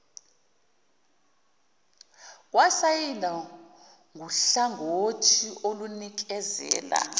kwasayindwa nguhlangothi olunikezela